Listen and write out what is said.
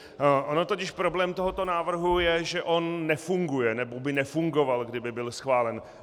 On totiž problém tohoto návrhu je, že on nefunguje, nebo by nefungoval, kdyby byl schválen.